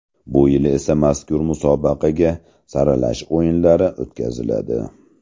Bu yil esa mazkur musobaqaga saralash o‘yinlari o‘tkaziladi.